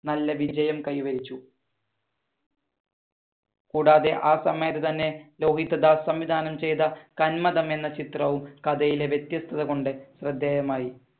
നല്ല വിജയം കൈവരിച്ചു. കൂടാതെ ആ സമയത്ത് തന്നെ ലോഹിതദാസ് സംവിധാനം ചെയ്ത കന്മദം എന്ന ചിത്രവും കഥയിലെ വ്യത്യസ്തത കൊണ്ട് ശ്രദ്ധേയമായി.